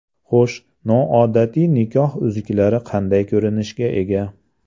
Xo‘sh, noodatiy nikoh uzuklari qanday ko‘rinishga ega?